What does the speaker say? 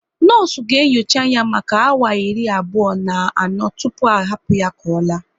Nọọsụ ga enyocha ya maka awa iri abụọ na anọ tụpụ a hapụ ya ka ọ la